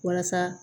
Walasa